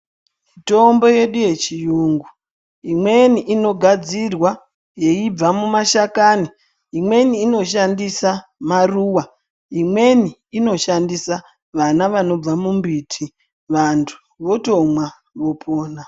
Mitombo yedu ye chiyungu imweni ino gadzirwa yeibva mu ma shakani imweni ino shandisa maruva imweni inoshandisa vana vanobva mu mbiti vantu votomwa vopona.